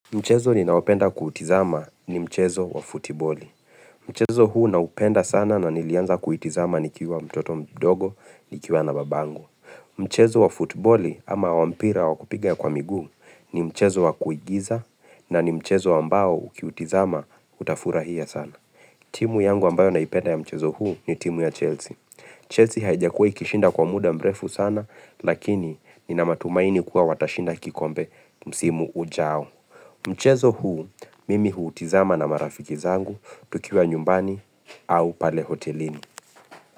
Mchezo ninaopenda kuutizama ni mchezo wa futiboli. Mchezo huu naupenda sana na nilianza kuitizama nikiwa mtoto mdogo, nikiwa na babangu. Mchezo wa futiboli ama wampira wa kupiga kwa miguu ni mchezo wa kuigiza na ni mchezo ambao ukiutizama utafurahia sana. Timu yangu ambayo naipenda ya mchezo huu ni timu ya Chelsea. Chelsea haijakuwa ikishinda kwa muda mrefu sana lakini nina matumaini kuwa watashinda kikombe msimu ujao. Mchezo huu, mimi huutizama na marafiki zangu tukiwa nyumbani au pale hotelini.